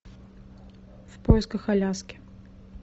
в поисках аляски